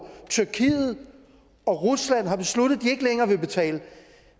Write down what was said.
tyrkiet og rusland har besluttet at de ikke længere vil betale